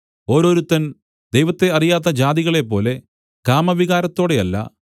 ഓരോരുത്തൻ ദൈവത്തെ അറിയാത്ത ജാതികളെപ്പോലെ കാമവികാരത്തോടെയല്ല